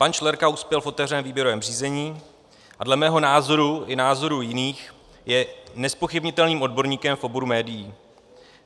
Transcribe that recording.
Pan Šlerka uspěl v otevřeném výběrovém řízení a dle mého názoru i názoru jiných je nezpochybnitelným odborníkem v oboru médií.